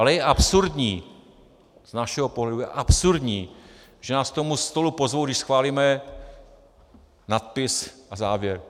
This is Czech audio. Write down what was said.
Ale je absurdní, z našeho pohledu je absurdní, že nás k tomu stolu pozvou, když schválíme nadpis a závěr.